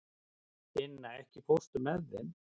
Inna, ekki fórstu með þeim?